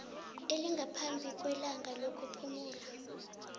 elingaphambi kwelanga lokuphumula